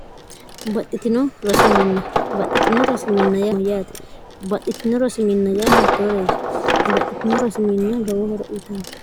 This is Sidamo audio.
xbaxxitino rosiminna yaa amayyaati baxxitino rosiminna yaa hiittooreeti baxxitino rosiminna gawohora uyitanno